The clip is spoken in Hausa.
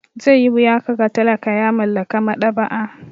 Zai yi wuya ka ga talaka ya mallaki maɗaba'a.